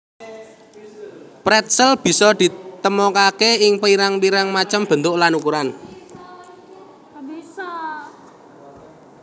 Pretzel bisa ditemokaké ing pirang pirang macem bentuk lan ukuran